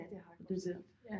Ja det har jeg godt hørt ja